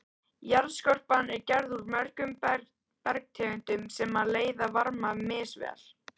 Jarðskorpan er gerð úr mörgum bergtegundum sem leiða varma misvel.